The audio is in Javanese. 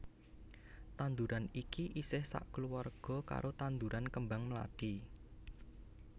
Tanduran iki isih sakeluwarga karo tanduran kembang mlathi